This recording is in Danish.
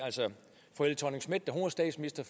vi står